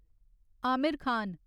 Aamir Khan